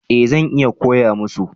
Eh zan iya koya musu